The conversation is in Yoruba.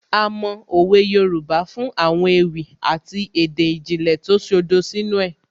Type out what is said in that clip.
A mọ òwe Yorùbá fún àwọn ewì àti èdè ìjìnlẹ̀ tó ṣodo sínú ẹ̀